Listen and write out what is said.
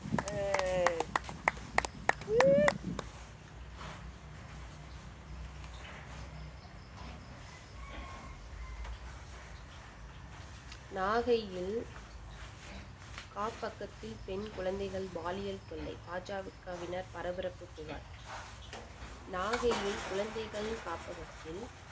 நாகையில் காப்பகத்தில் பெண் குழந்தைகள் பாலியல் தொல்லை பாஜகவினர் பரபரப்பு புகார் நாகையில் குழந்தைகள் காப்பகத்தில்